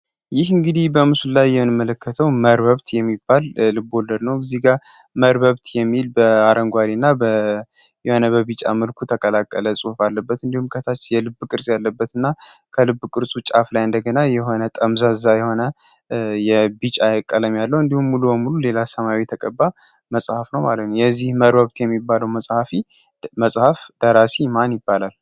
ይህ እንግዲ በሙስሊም መለከተው የሚባል ለልቦለድ ነው እዚህ ጋር የሚል በአረንጓዴ እና የነበሩ ቢጨምርኩ ተቀላቀለ ጽሁፍ አለበት እንዲሁም ከታች የልብ ቅርስ ያለበት እና ከልብ እርሱ ጫፍ ላይ እንደገና የሆነ ቀለም ያለው እንዲሁም ሙሉ ሌላ ሰማያዊ ተቀባ መሀፍ ነው የዚህ የሚባለው መጽሐፍ ደራሲ ማን ይባላል